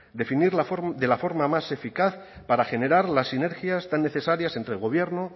definir de la forma más eficaz para generar las sinergias tan necesarias entre el gobierno